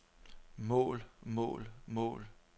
mål mål mål